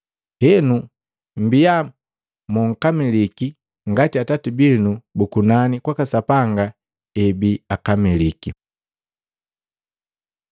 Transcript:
Henu, mbia momkamiliki, ngati Atati binu bu kunani kwaka Sapanga ebii akamiliki.”